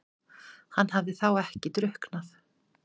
Hann hafði þá ekki drukknað?